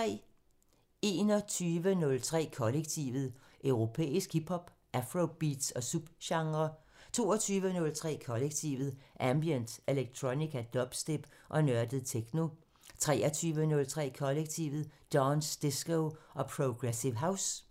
21:03: Kollektivet: Europæisk hip hop, afrobeats og subgenrer 22:03: Kollektivet: Ambient, electronica, dubstep og nørdet techno 23:03: Kollektivet: Dance, disco og progressive house